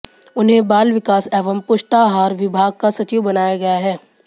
उन्हें बाल विकास एवं पुष्टाहार विभाग का सचिव बनाया गया है